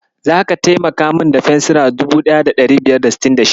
Zaka taimaka min da fensira 1566?